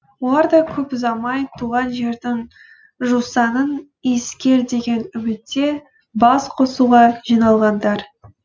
олар да көп ұзамай туған жердің жусанын иіскер деген үмітте басқосуға жиналғандар